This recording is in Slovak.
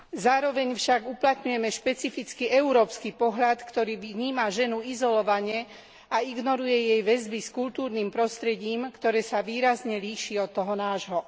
Zároveň však uplatňujeme špecifický európsky pohľad, ktorý vníma ženu izolovane a ignoruje jej väzby s kultúrnym prostredím, ktoré sa výrazne líši od toho nášho.